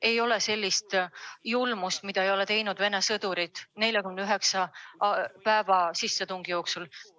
Ei ole, mida Vene sõdurid ei ole nende 49 sissetungipäeva jooksul toime pannud.